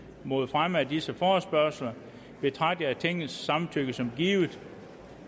mod fremme af disse forespørgsler betragter jeg tingets samtykke som givet